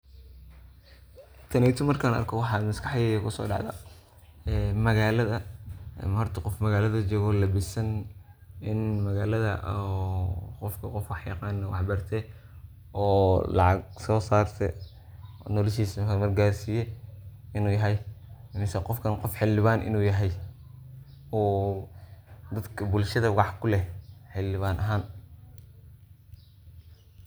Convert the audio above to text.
taneyto markan arko waxaa maskaxdeydaa kusoo dhacda ee magalada horta qof magalada jogo oo labisan in magalada oo qofka qof wax yaqan oo wax bartee oo lacag soo sarte, noloshiisa hormar garsiyee inu yahay mise qofkan qof xildhiban inu yahay uu dadka bulshada wax kuleh xildhiban ahan